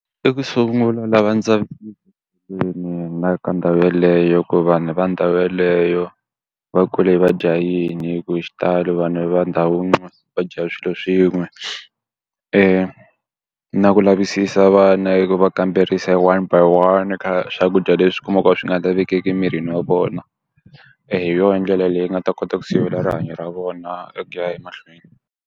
Eku sungula lava ka ndhawu yaleyo ku vanhu va ndhawu yeleyo va kule va dya yini hikuva hi xitalo vanhu va ndhawu yin'we va dya swilo swin'we. na ku lavisisa vana hi ku va kamberisa hi one by one ka swakudya leswi u kumaka a swi nga lavekeki emirini wa vona. hi yona hi ndlela leyi nga ta kota ku sivela rihanyo ra vona e ya ku ya emahlweni.